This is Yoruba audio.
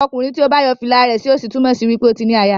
Okunrin tí o bá yo fìlà rẹ sí òsì túmò sí wípé o tí ní àyà.